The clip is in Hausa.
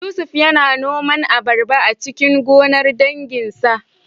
Yusuf yana noman abarba a cikin gonar danginsa